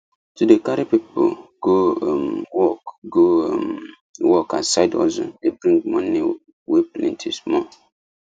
to dey carry people go um work go um work as side hustle dey bring money wey plenty small